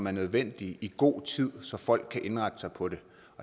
er nødvendige i god tid så folk kan indrette sig på det